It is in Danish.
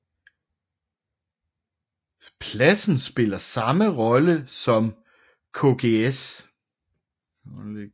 Pladsen spiller samme rolle som Kgs